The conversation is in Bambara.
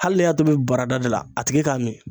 Hali ne y'a tobi barada de la a tigi k'a min.